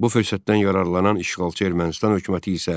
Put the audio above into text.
Bu fürsətdən yararlanan işğalçı Ermənistan hökuməti isə